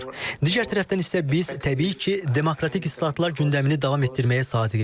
Digər tərəfdən isə biz, təbii ki, demokratik islahatlar gündəmini davam etdirməyə sadiqik.